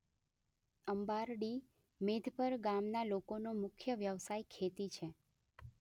અંબારડી મેધપર ગામના લોકોનો મુખ્ય વ્યવસાય ખેતી છે.